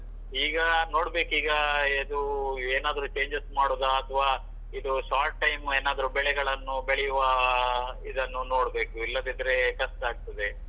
ಈಗ ನೋಡ್ಬೇಕಿಗ ಹೇಗೂ ಏನಾದ್ರು changes ಮಾಡುದ ಅತ್ವಾ ಇದು short time ಏನಾದ್ರು ಬೆಳೆಗಳನ್ನು ಬೆಳೆಯುವ ಆಹ್ ಇದನ್ನು ನೋಡ್ಬೇಕು ಇಲ್ಲದಿದ್ರೆ ಕಷ್ಟ ಆಗ್ತದೆ.